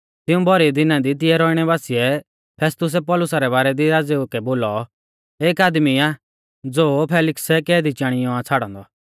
तिऊं भौरी दिना दी तिऐ रौइणै बासिऐ फेस्तुसै पौलुसा रै बारै दी राज़ेऊ कै बोलौ एक आदमी आ ज़ो फेलिक्सै कैदी चाणीऔ आ छ़ाड़ौ औन्दौ